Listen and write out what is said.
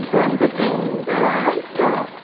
இப்போ வந்துட்டு இந்த இவ்வளோ